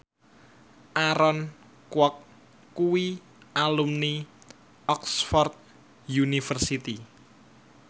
Aaron Kwok kuwi alumni Oxford university